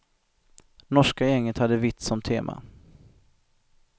Norska gänget hade vitt som tema.